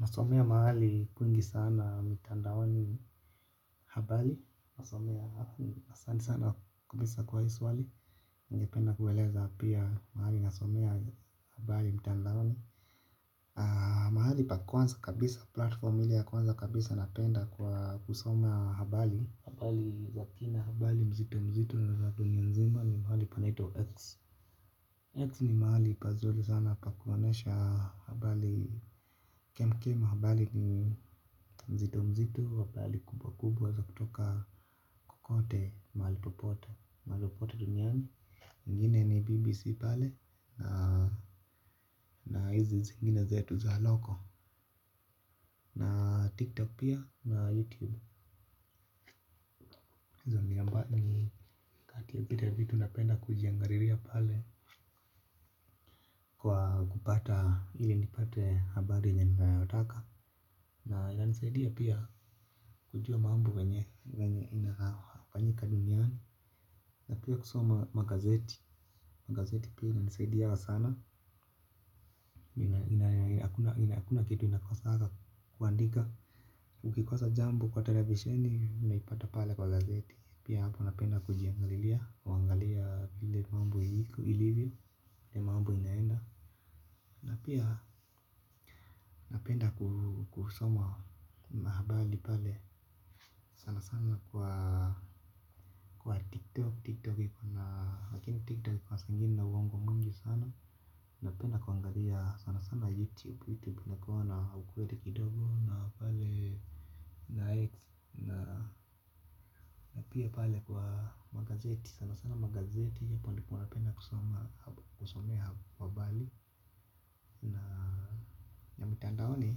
Nasomea mahali kwingi sana mitandaoni habali. Nasomea asanti sana kabisa kwa iswali. Ningependa kuweleza pia mahali nasomea habali mitandaoni mahali pa kwaza kabisa platform ile ya kwanza kabisa napenda kwa kusoma habali na ina habali mzito mzito ya dunia nzima ni pahali panaitwa X, X ni mahali pazuli sana pa kuonyesha habali kemkem habali ni mzito mzito habali kubwa kubwa za kutoka kukote mahali popote Mali popote duniani, ingine ni BBC pale na izi zingine zetu za loko na TikTok pia na YouTube ambia mba ni hatiakita vitu napenda kujiangariria pale kwa kupata ili nipate habari ya ninaotaka. Na inanisaidia pia kujua mambo venye inafanyika duniani. Na pia kusoma magazeti, magazeti pia ina nisaidia sana naakuna kitu inakosaka kuandika. Ukikosa jambo kwa televisheni, inaipata pale kwa gazeti. Pia hapo napenda kujiangariria, wangalia vile mambu hiku ilivyo nemaambu inaenda. Na pia napenda kusoma mahabali pale sana sana kwa kwa tiktok Tiktok iko na lakini tiktok iki na saingine wangu mungu sana. Napenda kuangalia sana sana sana sana youtube Youtube inakuwana ukwede kidogo. Na pale. Na x. Na pia pale kwa magazeti. Sana sana magazeti. Kwa napenda kusoma. Kusomea wabali na mitandaoni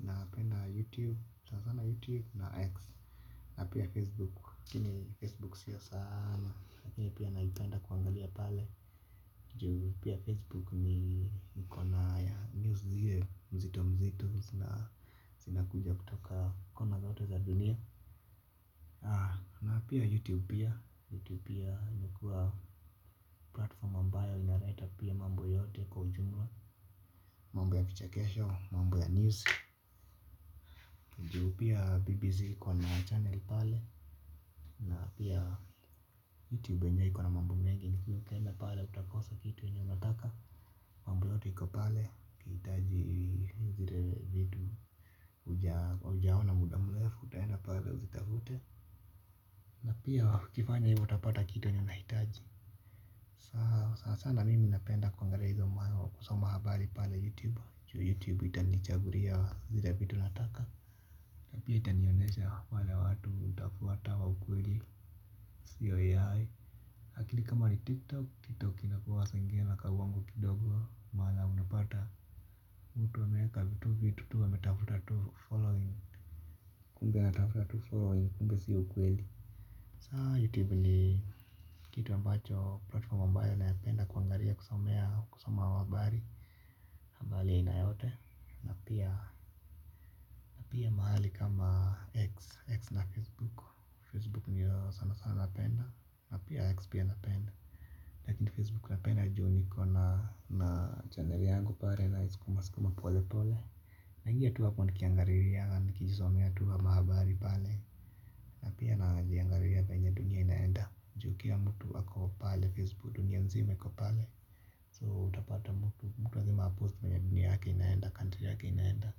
napenda youtube sana sana youtube na X na pia facebook laini facebook sio sana hio pia naipenda kuangalia pale ju pia face book iko na news zile mzito mzito sinakuja kutoka kona zote za dunia na pia youtube pia youtube pia inakua platform ambayo inareta pia mambo yote kujumwa mambo ya kichakesho, mambo ya news juu pia bbz kona channel pale. Na pia YouTube nja ikona mambu mengi ni kuyukenda pale utakosa kitu nyo nataka. Mambo lote hiko pale kitaji zile vidu ujaona muda mlefu utaenda pale uzitavute. Na pia kifanya hivo utapata kitu yenye unahitaji. Saa sana mimi napenda kuangalia hizo mawa kusoma habari pale YouTube Chu YouTube itanichaguria zile vidu nataka. Na pia itanionesha wale watu utafuata wa ukweli ya AI lakini kama ni tiktok tiktok saingine inakuanga nakauongo kidogo maana unapata mtu ameeka vitu vitu anatafuta following. Kumbe natafuta tu following kumbe si ukweli. Saa youtube ni kitu ampacho platforma ambayo naipenda kuangaria kusomea kusoma wabari ambali inayote. Napia napia mahali kama x na facebook Facebook niyo sana sana napenda napia x pia napenda. Lakini Facebook napenda juu ni kona na channel yangu pale naisikuma sikuma pole pole. Naingia tuwa kondi kiangariria anikijuswamea tu amahabari pale. Napia na jiangariria penye dunia inaenda. Jukila mtu wako pale Facebook dunia mzima yako pale So utapata mtu mtu wazima post mwenye dunia yake inaenda country yake inaenda.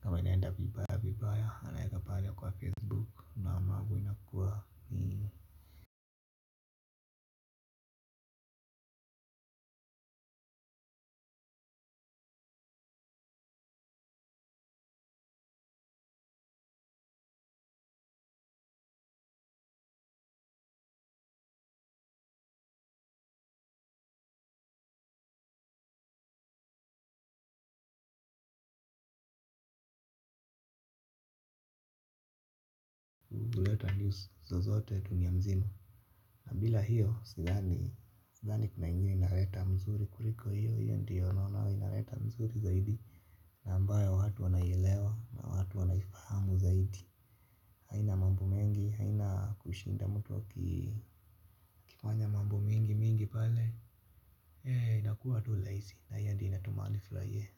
Kama inaenda vibabi. Kwa pale kwa Facebook huleta news zozote dunia mzima na bila hiyo sidhani kunaingine mzuri kuliko hiyo hiyo ndio naona inaleta mzuri zaidi. Na ambayo watu wanayelewa, watu wanafahamu zaidi. Haina mambo mengi, haina kushinda mtu wa kipanya mambu mingi mingi pale. Hei, inakuwa tu laisi, na hiyo ndi inatumanifla ye.